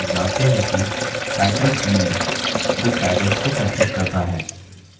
और हम जानते हैं कि title field book titles को संचित करता हैं